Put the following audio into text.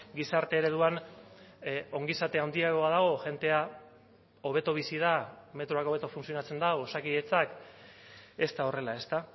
gizarte ereduan ongizate handiagoa dago jendea hobeto bizi da metroak hobeto funtzionatzen du osakidetzak ez da horrela ezta